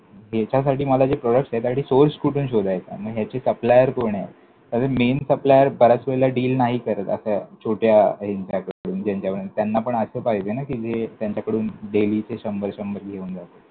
याच्यासाठी मला जे products आहेत त्यासाठी source कुठून शोधायचा? मग ह्याचे supplier कोण आहे? कारण main supplier बऱ्याच वेळेला deal नाही करत, अशा छोट्या ह्यांच्याकडून ज्यांच्याकडून. त्यांना पण असं पाहिजे ना कि जे त्यांच्याकडून daily चे शंभर शंभर घेऊन जातील.